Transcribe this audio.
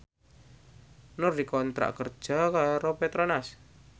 Nur dikontrak kerja karo Petronas